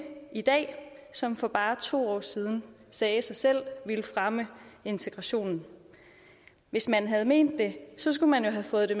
som for bare to år siden sagde sig selv ville fremme integrationen hvis man havde ment det skulle man jo have fået det